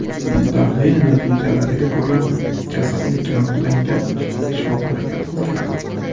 Tahlil natijalariga ko‘ra, kasallik aniqlangach, shifoxonaga yotqizilgan.